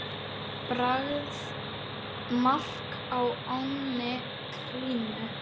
Bragð: mark á ánni Krímu.